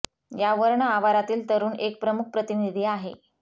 या वर्ण आवारातील तरुण एक प्रमुख प्रतिनिधी आहे